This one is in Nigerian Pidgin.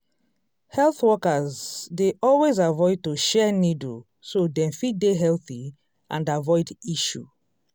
health workers dey always avoid to share needle so dem fit dey healthy and avoid issue